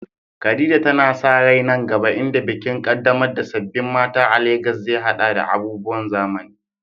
Khadija tana sa rai nan gaba, inda bikin ƙaddamar da sabbin mata a Legas zai haɗa da abubuwan zamani.